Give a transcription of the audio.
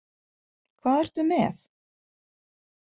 Hvað ertu með?